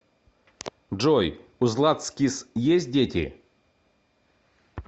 джой у златскис есть дети